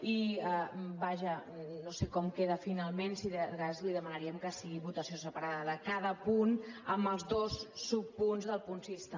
i vaja no sé com queda finalment si de cas li demanaríem que fos votació separada de cada punt amb els dos subpunts del punt sis també